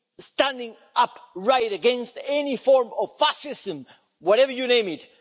standing up against any form of fascism, whatever you call it.